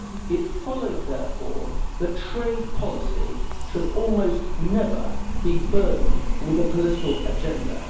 It follows, therefore, that trade policy should almost never be burdened with a political agenda.